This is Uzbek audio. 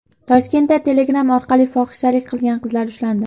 Toshkentda Telegram orqali fohishalik qilgan qizlar ushlandi.